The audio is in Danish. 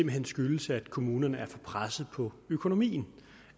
hen skyldes at kommunerne er for presset på økonomien